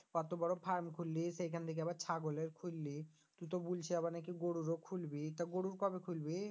অত বড়ো farm খুললি সেখান থেকে আবার ছাগলের খুললি তু তো বুলছি আবার নাকি গরুরও খুলবি তা গরুর কবে খুলবি?